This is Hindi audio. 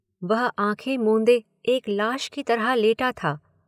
वह आंखें मूंदे एक लाश की तरह लेटा था।